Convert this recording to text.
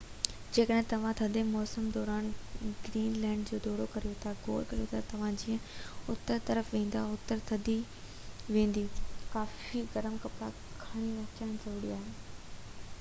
جيڪڏهن توهان ٿڌي موسم دوران گرين لينڊ جو دورو ڪريو ٿا غور ڪريو ته توهان جيئن اتر طرف ويندا، اوتري ٿد وڌندي ويندي، ڪافي گرم ڪپڙا کڻي اچن ضروري آهي